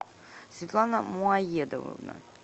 светлана муаедововна